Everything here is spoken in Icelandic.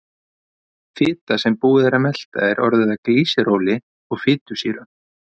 Fita sem búið er að melta er orðin að glýseróli og fitusýrum.